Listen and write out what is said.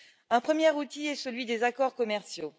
Un premier outil est celui des accords commerciaux.